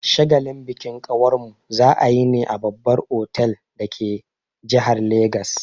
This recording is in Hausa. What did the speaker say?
Shagalin bikin kawarmu za'a yi ne a babbar otal dake jihar Legas.